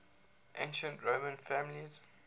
ancient roman families